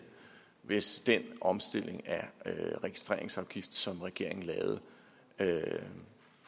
hvis den omstilling af registreringsafgiften som regeringen lavede